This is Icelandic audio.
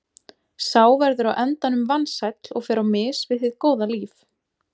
Sá verður á endanum vansæll og fer á mis við hið góða líf.